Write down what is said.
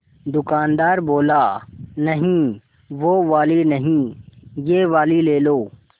दुकानदार बोला नहीं वो वाली नहीं ये वाली ले लो